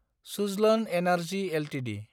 Suzlon energy Ltd